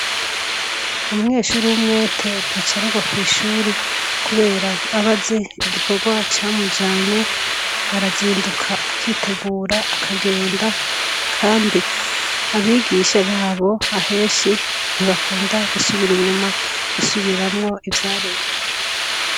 Umweshuri w'umwete ntacarerwa kw'ishuri, kubera abaze igikorwa camujanye arazinduka akitegura akagenda, kandi abigisha babo aheshi ntibakunda gusubira inyuma gusubiramwo ivyarenga.